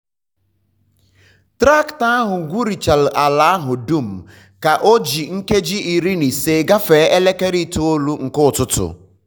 traktọ ahụ gwurichara ala ahụ dum ka ọ ji nkeji iri na ise gafee elekere itoolu nke ụtụtụ.